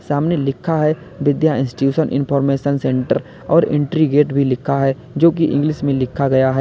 सामने लिखा है विद्या इंस्टीट्यूशन इनफॉरमेशन सेंटर और एंट्री गेट भी लिखा है जो की इंग्लिश में लिखा गया है।